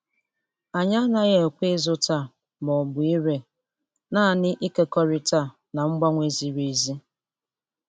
Anyị anaghị ekwe ịzụta ma ọ bụ ire, naanị ịkekọrịta na mgbanwe ziri ezi.